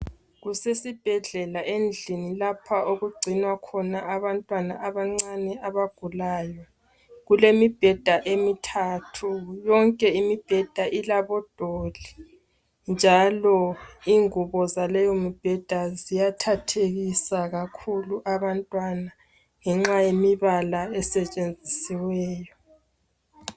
Kusesibhedlela endlini lapha okugcinwa khona abantwana abancane abagalayo. Kulemibheda emithathu. Yonke imibheda ilabodoli njalo ingubo zaleyo mbheda ziyathathekisa kakhulu abantwana ngenxa yemibala esetshenzisiweyo.